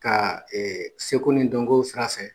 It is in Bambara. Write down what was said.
Ka seko ni dɔnko sirafɛ.